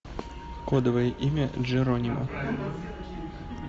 кодовое имя джеронимо